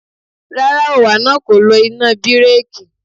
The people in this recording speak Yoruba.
Rárá, òǹwà náà kò lo iná bíréèkì.